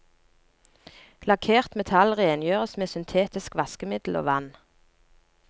Lakkert metall rengjøres med syntetisk vaskemiddel og vann.